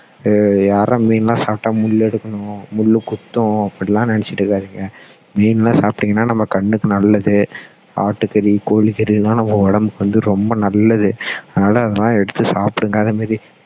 அஹ் யாருடா மீன்லாம் சாப்பிட்டா முள் எடுக்கணும் முள் குத்தும் அப்படி எல்லாம் நினைச்சிட்டு இருக்காதீங்க மீன்லாம் சாப்பிட்டீங்கன்னா நம்ம கண்ணுக்கு நல்லது ஆட்டு கறி கோழி கறி எல்லாம் நம்ம உடம்புக்கு வந்து ரொம்ப நல்லது அதனால அதெல்லாம் எடுத்து சாப்பிடுங்க அதே மாதிரி